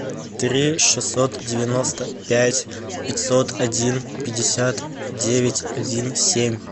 три шестьсот девяносто пять пятьсот один пятьдесят девять один семь